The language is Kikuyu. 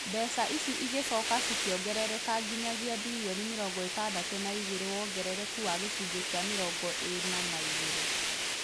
Mbeca ici cigĩcoka cikĩongerereka nginyagia bilioni mĩrongo ĩtandatũ na igĩrĩ wongerereku wa gĩcunjĩ kĩa mĩrongo ĩna na igĩrĩ